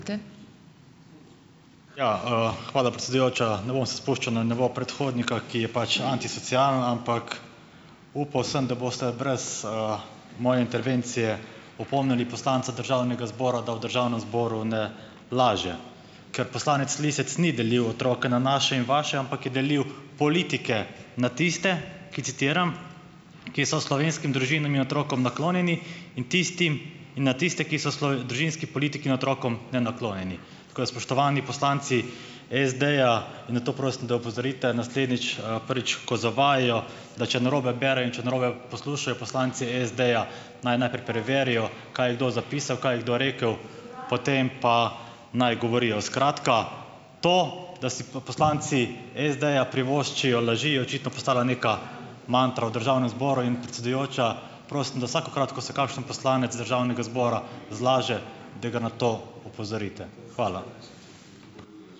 Ja, hvala predsedujoča. Ne bom se spuščal na nivo predhodnika, ki je pač antisocialen, ampak upal sem, da boste brez, moje intervencije opomnili poslanca državnega zbora, da v državnem zboru ne laže. Ker poslanec Lisec ni delil otrok na naše in vaše, ampak je delil politike na tiste, ki - citiram: "ki so slovenskim družinam in otrokom naklonjeni in na tistim in na tiste, ki so družinski politiki in otrokom nenaklonjeni." Tako da spoštovani poslanci SD-ja, in na to prosim, da opozorite naslednjič. Prvič, ko zavajajo, da če narobe berejo in če narobe poslušajo poslanci SD-ja, naj najprej preverijo, kaj je kdo zapisal, kaj je kdo rekel, potem pa naj govorijo. Skratka to, da si poslanci SD-ja privoščijo laži, je očitno postala neka mantra v državnem zboru in, predsedujoča, prosim, da vsakokrat, ko se kakšen poslanec državnega zbora zlaže, da ga na to opozorite. Hvala.